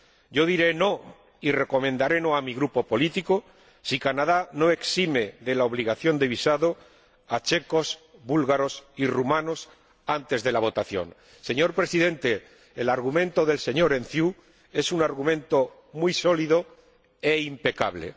Yo diré no y recomendaré el no a mi grupo político si Canadá no exime de la obligación de visado a checos, búlgaros y rumanos, antes de la votación. Señor Presidente, el argumento del señor Enciu es un argumento muy sólido e impecable.